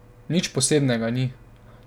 Nič posebnega ni.